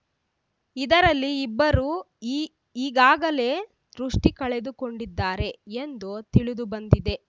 ಇದರಲ್ಲಿ ಇಬ್ಬರು ಈ ಈಗಾಗಲೇ ದೃಷ್ಟಿಕಳೆದುಕೊಂಡಿದ್ದಾರೆ ಎಂದು ತಿಳಿದುಬಂದಿದೆ